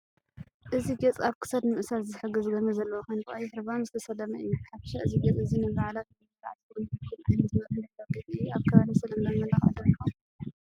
እቲ ጌጽ ኣብ ክሳዱ ንምእሳር ዝሕግዝ ገመድ ዘለዎ ኮይኑ ብቀይሕ ሪባን ዝተሰለመ እዩ። ብሓፈሻ እዚ ጌጽ እዚ ንበዓላት ወይ ንመርዓ ዝኸውን ምዕሩግን ዓይኒ ዝማርኽን ባህላዊ ጌጽ እዩ። ኣብ ከባቢና ዝተለመደ መመላኽዒ ዶ ይኾን?